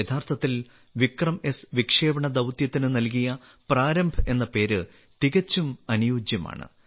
യഥാർത്ഥത്തിൽ വിക്രംഎസ് വിക്ഷേപണ ദൌത്യത്തിന് നൽകിയ പ്രാരംഭ് എന്ന പേര് തികച്ചും അനുയോജ്യമാണ്